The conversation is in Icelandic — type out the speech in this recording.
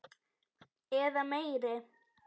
Eða meiri.